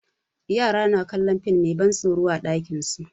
Yara na kallon fim mai ban tsoro a ɗakin su.